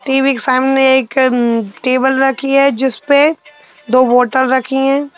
TV के सामने एक उम्म् टेबल रखी है जिसपे दो बॉटल रखी है।